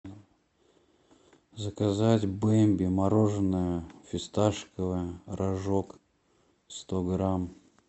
заказать бемби мороженое фисташковое рожок сто грамм